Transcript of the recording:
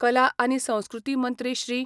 कला आनी संस्कृती मंत्री श्री.